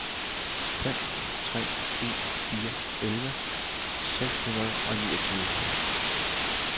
fem tre en fire elleve seks hundrede og niogtyve